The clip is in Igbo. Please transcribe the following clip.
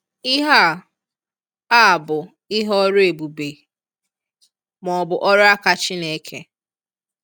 Ihe a a bụ ihe ọrụ ebùbè, ma ọ bụ ọrụ aka Chineke.